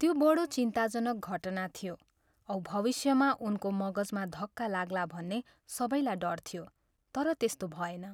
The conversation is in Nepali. त्यो बढो चिन्ताजनक घटना थियो औ भविष्यमा उनको मगजमा धक्का लाग्ला भन्ने सबैलाई डर थियो, तर त्यस्तो भएन।